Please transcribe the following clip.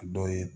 A dɔ ye